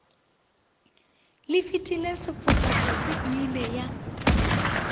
lefetile sefoka tsotsi eile ya